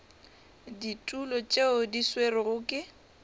ditulo tšeo di swerwego ke